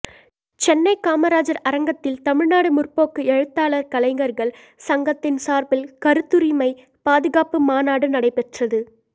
சென்னை காமராஜர் அரங்கத்தில் தமிழ்நாடு முற்போக்கு எழுத்தாளர் கலைஞர்கள் சங்கத்தின் சார்பில் கருத்துரிமை பாதுகாப்பு மாநாடு நடைபெற்றது